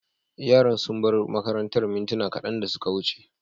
Yaran sun bar makarantar mintuna kadan da suka wuce.